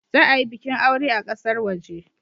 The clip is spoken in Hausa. Za a yi bikin aure a kasar waje.